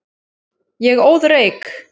Ég óð reyk.